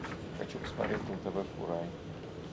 хочу посмотреть на тв курай